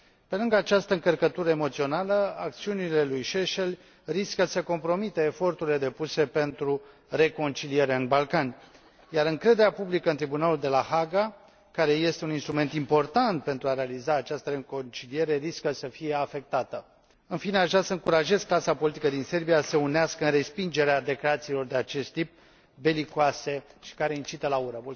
Pe lângă această încărcătură emoțională, acțiunile lui Šešelj riscă să compromită eforturile depuse pentru reconciliere în Balcani, iar încrederea publică în Tribunalul de la Haga, care este un instrument important pentru a realiza această reconciliere, riscă să fie afectată. În fine, aș vrea să încurajez clasa politică din Serbia să se unească în respingerea declarațiilor de acest tip, belicoase și care incită la ură.